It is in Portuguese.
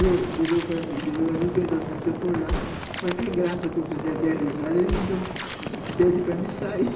Eu às vezes pensava, se eu for lá, qualquer graça que eu fizer, der risada, eles me dão, pedem para mim sair.